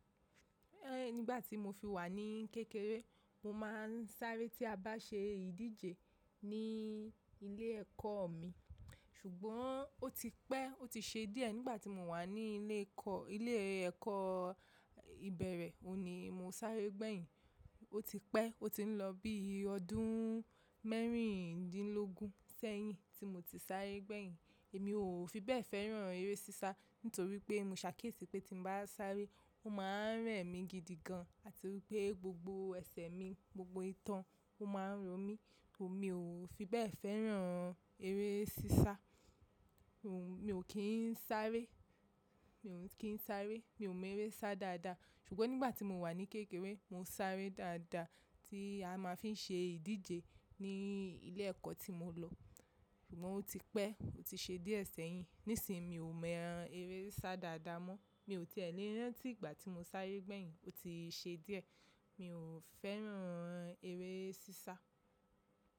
Nígbà tí mo fi wà ní kékeré, mo máa ń sáré tí a bá ṣe ìdíje ní ilé ẹ̀kọ́ mi. Ṣùgbọ́n ó ti pẹ́, ó ti ṣe díẹ̀ nígbà tí mo wà ní ilé ẹ̀kọ́, ilé ẹ̀kọ́ ìbẹ̀rẹ̀, òní mo sáré gbẹ̀yin. Ó ti pẹ́, ó ti ń lọ bí i ọdún mẹ́rìndínlógún sẹ́yìn tí mo ti sáré gbẹ̀yin. Èmi ò fi bẹ́ẹ̀ fẹ́ràn eré sísá nitorí pé mo ṣàkíyèsí pé tí mo bá sáré, ó máa ń rẹ̀ mi gidigan àti wípé gbogbo ẹsẹ̀ mi, gbogbo itan, ó máa ń ro mí. Mi ò fi bẹ́ẹ̀ fẹ́ràn eré sísá. Mi ò kín sáré, mi ò kín sáré, mi ò mọ eré sá dáadáa. Ṣùgbọ́n nígbà tí mo wà ní kékeré, mo sáré dáadáa tí a máa fi ń ṣe ìdíje ní ilé ẹ̀kọ́ tí mo lọ. Ṣùgbọ́n ó ti pẹ́, ó ti ṣe díẹ̀ sẹ́yìn. Nísìnyi mi ò mọ eré sá dáadáa mọ́. Mi ò tíẹ̀ lè rán tí ìgbà tí mo sáré gbẹ̀yin. Ó ti ṣe díẹ̀. Mi ò fẹ́ran eré sísá.